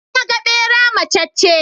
Na ga ɓera macacce.